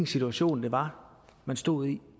situation det var man stod i